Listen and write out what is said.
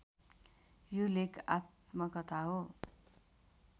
यो लेख आत्मकथा हो